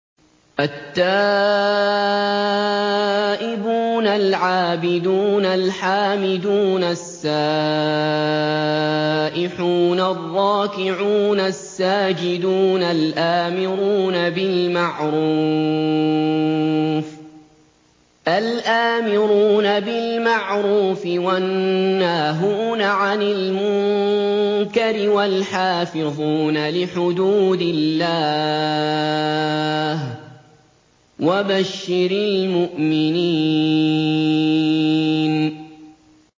التَّائِبُونَ الْعَابِدُونَ الْحَامِدُونَ السَّائِحُونَ الرَّاكِعُونَ السَّاجِدُونَ الْآمِرُونَ بِالْمَعْرُوفِ وَالنَّاهُونَ عَنِ الْمُنكَرِ وَالْحَافِظُونَ لِحُدُودِ اللَّهِ ۗ وَبَشِّرِ الْمُؤْمِنِينَ